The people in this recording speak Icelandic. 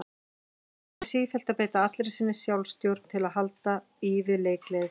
Hann þurfti sífellt að beita allri sinni sjálfstjórn til að halda í við leikgleði þeirra.